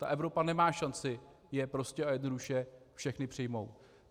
Ta Evropa nemá šanci je prostě a jednoduše všechny přijmout.